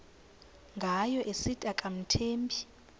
ngayo esithi akamthembi